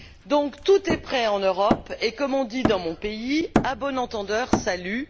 Donc tout est prêt en Europe et, comme on dit dans mon pays, à bon entendeur, salut!,